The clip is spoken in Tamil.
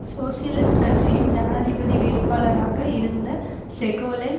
சோசியலிஸ்ட் கட்சியின் ஜனாதிபதி வேட்பாளராக இருந்த செகோலென்